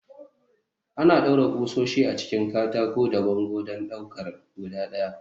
Ana ɗaure ƙusoshi a cikin katako da bango don ɗaukar guda ɗaya.